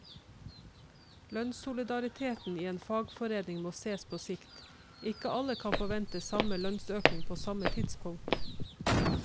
Lønnssolidariteten i en fagforening må ses på sikt, ikke alle kan forvente samme lønnsøkning på samme tidspunkt.